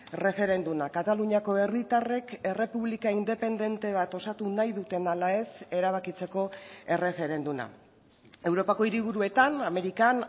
erreferenduma kataluniako herritarrek errepublika independente bat osatu nahi duten ala ez erabakitzeko erreferenduma europako hiriburuetan amerikan